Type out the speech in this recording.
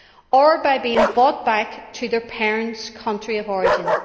or by being brought back to their parents' country of origin.